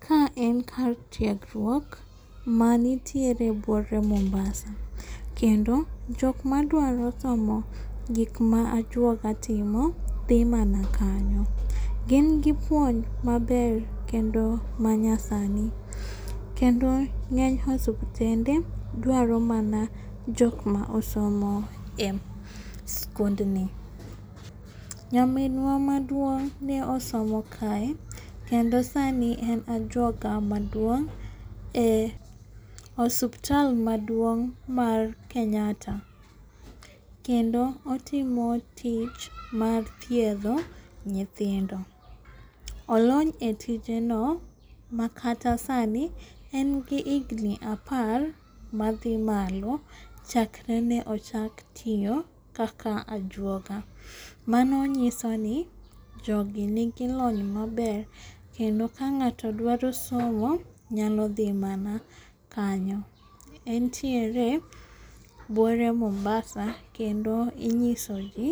Ka en kar tiegruok manitiere buore mombasa. Kendo jok ma dwaro somo gik ma ajuoga timo dhi mana kanyo. Gin gi puonj maber kendo ma nyasani. Kendo ng'eny osuptende dwaro mana jok ma osomo e skundni. Nyaminwa maduong' ne osomo kae kendo sani en ajuoga maduong' e osuptal maduong' mar Kenyatta. Kendo otimo tich mar thiedho nyithindo. Olony e tije no makata sani en gi higni apar madhi malo chakre ne ochak tiyo kaka ajuoga. Mano nyiso ni jogi nigi lony maber kendo ka ng'ato dwaro somo nyalo dhi mana kanyo. Entiere buore Mombasa kendo inyiso ji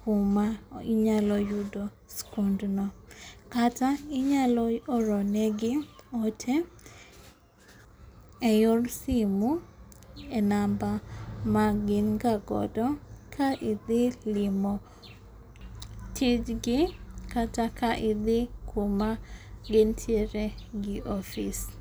kuma inyalo yudo skund no. Kata inyalo oro ne gi ote e yor simo e namba magin ga godo ka idhi limo tij gi kata ka idhi kuma gintiere gi ofis.